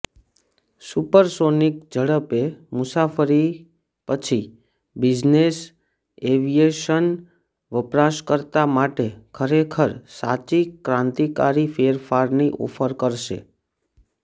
supersonic ઝડપે મુસાફરી પછી બિઝનેસ એવિયેશન વપરાશકર્તા માટે ખરેખર સાચી ક્રાંતિકારી ફેરફારની ઓફર કરશે